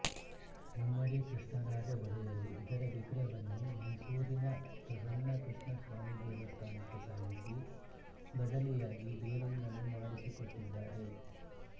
ಮುಮ್ಮಡಿ ಕೃಷ್ಣರಾಜ ಒಡೆಯರು ಇದರ ವಿಗ್ರಹವನ್ನು ಮೈಸೂರಿನ ಪ್ರಸನ್ನ ಕೃಷ್ಣಸ್ವಾಮಿ ದೇವಸ್ಥಾನಕ್ಕೆ ಸಾಗಿಸಿ ಬದಲಿಯಾಗಿ ಬೇರೊಂದನ್ನು ಮಾಡಿಸಿಕೊಟ್ಟಿದ್ದಾರೆ